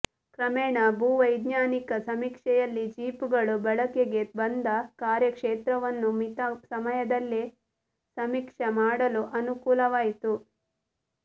ಕ್ರಮೇಣ ಭೂವೈಜ್ಞಾನಿಕ ಸಮೀಕ್ಷೆಯಲ್ಲಿ ಜೀಪುಗಳು ಬಳಕೆಗೆ ಬಂದು ಕಾರ್ಯಕ್ಷೇತ್ರವನ್ನು ಮಿತ ಸಮಯದಲ್ಲೇ ಸಮೀಕ್ಷೆ ಮಾಡಲು ಅನುಕೂಲ ವಾಯಿತು